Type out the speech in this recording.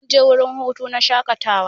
Mun je wurin hutu na shakatawa.